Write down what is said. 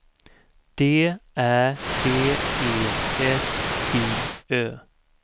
D Ä D E S J Ö